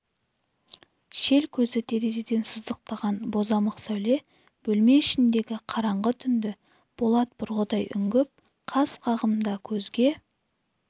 шел көзі терезеден сыздықтаған бозамық сәуле бөлме ішіндегі қараңғы түнді болат бұрғыдай үңгіп қас қағымда көзге